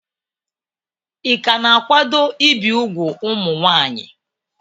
Ị ka na-akwado ibi úgwù ụmụ nwanyị?